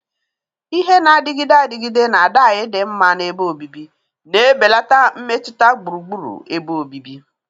Ihe na-adịgide adịgide na dai dinma na ebe obibi, na-ebelata mmetụta gburugburu ebe obibi.